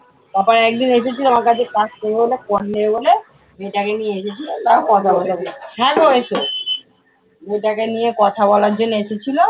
তারপরে একদিন এসেছিলো আমার কাছে নেবে বলে মেবৌটাকে নিয়ে এসেছিলো হ্যাঁ গো এসো। বৌটাকে নিয়ে কথা বলার জন্য এসেছিলো।